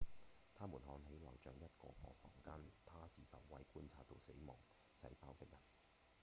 它們看起來像一個個房間他是首位觀察到死亡細胞的人